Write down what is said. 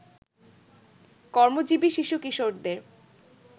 কর্মজীবী শিশু-কিশোরদের